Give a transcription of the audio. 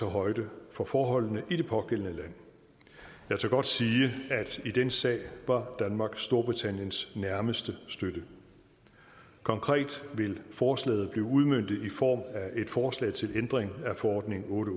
højde for forholdene i det pågældende land jeg tør godt sige at i den sag var danmark storbritanniens nærmeste støtte konkret vil forslaget blive udmøntet i form af et forslag til ændring af forordning otte